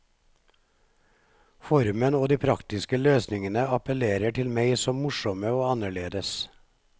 Formen og de praktiske løsningene appellerer til meg som morsomme og annerledes.